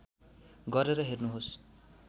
गरेर हेर्नुहोस्